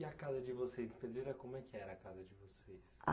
E a casa de vocês, Pedreira, como é que era a casa de vocês?